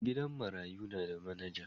gidan marayu na da manager.